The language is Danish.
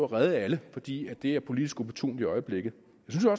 redde alle fordi det er politisk opportunt i øjeblikket